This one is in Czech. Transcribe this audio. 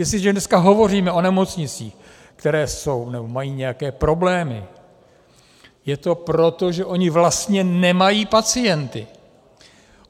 Jestliže dneska hovoříme o nemocnicích, které jsou, nebo mají nějaké problémy, je to proto, že ony vlastně nemají pacienty.